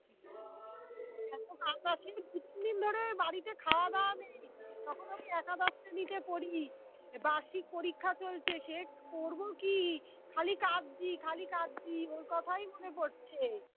বাড়িতে খাওয়া দাওয়া নেই তখন আমি একাদশ শ্রেণীতে পড়ি বার্ষিক পরীক্ষা চলছে, সে পড়বো কি? খালি কাঁদছি খালি কাঁদছি। ওর কথাই মনে পড়ছে